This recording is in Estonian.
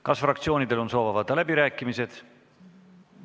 Kas fraktsioonidel on soov avada läbirääkimised?